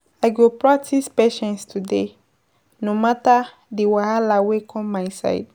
I go practice patience today, no matter di wahala wey kom my side.